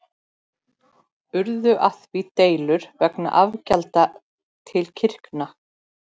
Urðu af því deilur vegna afgjalda til kirkna.